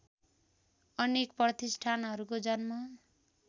अनेक प्रतिष्ठानहरूको जन्म